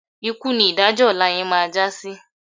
Ikú ni ìdájọ́ ọ̀la yẹn máa já sí.